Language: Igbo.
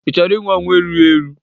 Ị chọrọ inwụ ọnwụ erughị eru?